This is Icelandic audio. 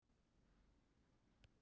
Eða hún hló.